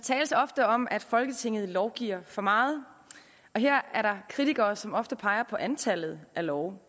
tales ofte om at folketinget lovgiver for meget og her er der kritikere som ofte peger på antallet af love